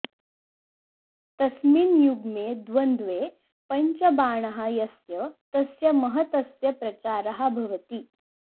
तस्मिन् युग्मे द्वंद्वे पञ्चबाणः यस्य तस्य महतस्य प्रचारः भवति